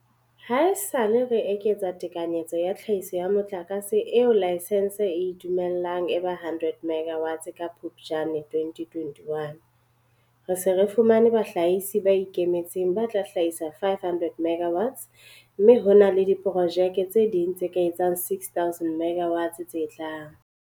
Haesale re eketsa tekanyetso ya tlhahiso ya motlakase eo laesense e e dumellang e ba 100 megawatts ka Phuptjane 2021, re se re fumane bahlahisi ba ikemetseng ba tla hlahisa 500 MW mme ho na le diprojeke tse ding tse ka etsang 6 000 MW tse tlang.